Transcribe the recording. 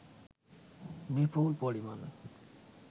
বিপুল পরিমাণ